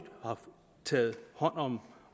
har taget hånd om